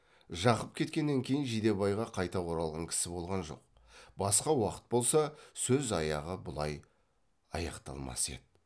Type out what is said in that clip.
жақып кеткеннен кейін жидебайға қайта оралған кісі болған жоқ басқа уақыт болса сөз аяғы бұлай аяқталмас еді